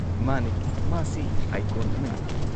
ꯃꯥꯅꯦ, ꯃꯥꯁꯤ ꯑꯥꯏꯀꯣꯟ ꯑꯃꯅꯤ꯫